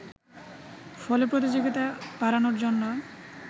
ফলে প্রতিযোগিতা বাড়ানোর জন্য